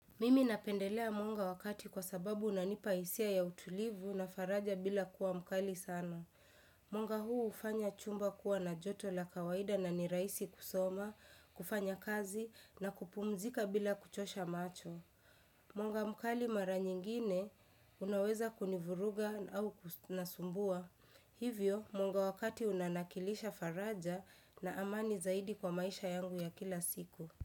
Mimi napendelea mwanga wakati kwa sababu unipaisia ya utulivu na faraja bila kuwa mkali sana. Mwanga huu ufanya chumba kuwa na joto la kawaida na nirahisi kusoma, kufanya kazi na kupumzika bila kuchosha macho. Mwanga mkali mara nyingine unaweza kunivuruga au kunasumbua. Hivyo munga wakati unanakilisha faraja na amani zaidi kwa maisha yangu ya kila siku.